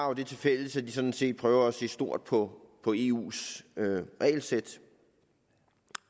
har det tilfælles at de sådan set prøver at se stort på på eus regelsæt